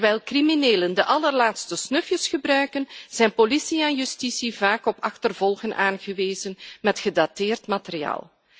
Terwijl criminelen de allerlaatste snufjes gebruiken, zijn politie en justitie vaak op achtervolgen aangewezen met gedateerd materiaal.